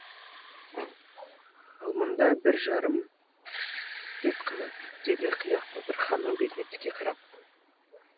ал мұнда бір жарым рет қана деді қияқ батыр ханның бетіне тіке қарап